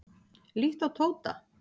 Líttu á Tóta.